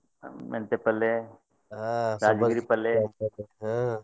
ಮೆಂತೆ ಪಲ್ಲೆ, ಹಾ ರಾಜಗಿರಿ ಪಲ್ಲೆ, ಹಾ.